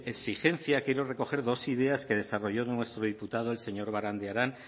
exigencia quiero recoger dos ideas que desarrolló nuestro diputado el señor barandiaran